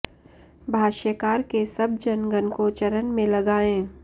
भाष्यकार के सब जन गण को चरण में लगाये